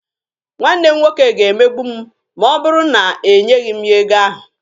Nwanne m nwoke ga-emegbu m ma ọ bụrụ na enyeghị m ya ego ahụ.